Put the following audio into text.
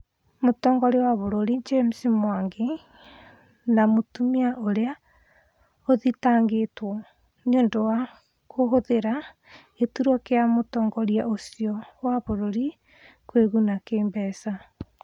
Mũtongoria wa bũrũri James Mwangi , na mũtumia ũrĩa ũthitangĩtwo nĩũndũ wa kũhũthĩra gĩturwa kĩa mũtongoria ucio wa bũrũri kwĩguna kĩmbeca